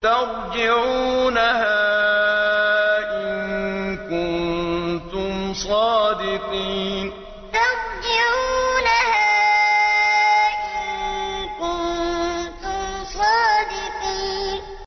تَرْجِعُونَهَا إِن كُنتُمْ صَادِقِينَ تَرْجِعُونَهَا إِن كُنتُمْ صَادِقِينَ